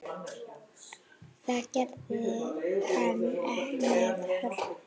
Það gerði hann með hörku.